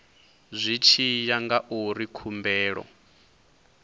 zwi tshi ya ngauri khumbelo